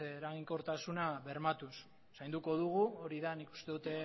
eraginkortasuna bermatuz zainduko dugu hori da nik uste dut